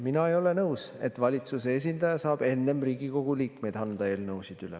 Mina ei ole nõus, et valitsuse esindaja saab enne Riigikogu liikmeid anda eelnõusid üle.